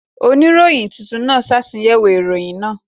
Oníròyìn tuntun náà ṣàtúnyẹ̀wò ìròyìn náà.